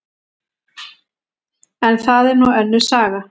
En það er nú önnur saga.